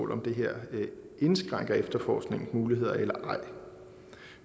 det her indskrænker efterforskningens muligheder eller ej